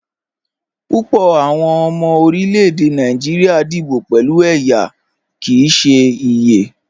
Púpọ̀ awọn ọmọ orílẹ̀-èdè Nàìjíríà díbò pẹ̀lú ẹyá kí í ṣè iyẹ.